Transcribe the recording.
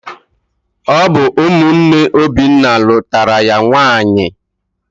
Ọ bụ ụmụnne Obinna nụtara ya nwanyị.